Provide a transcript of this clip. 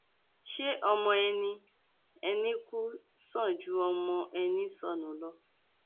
ṣé ọmọ ẹni ẹni kù sàn ju ọmọ ẹni sọnù lọ